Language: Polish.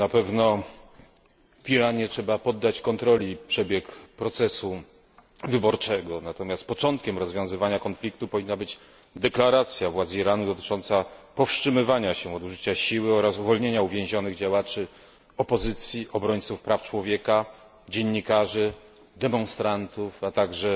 Na pewno w Iranie trzeba poddać kontroli przebieg procesu wyborczego, natomiast początkiem rozwiązywania konfliktu powinna być deklaracja władz Iranu dotycząca powstrzymywania się od użycia siły oraz uwolnienia uwięzionych działaczy opozycji, obrońców praw człowieka, dziennikarzy, demonstrantów, a także